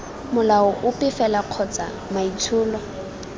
molao ope fela kgotsa maitsholo